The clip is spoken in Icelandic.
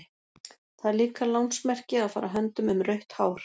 Það er líka lánsmerki að fara höndum um rautt hár.